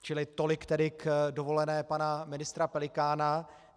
Čili tolik tedy k dovolené pana ministra Pelikána.